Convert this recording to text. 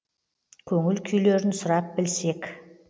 көңіл күйлерін сұрап білсек